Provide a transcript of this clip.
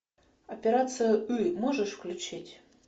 операция ы можешь включить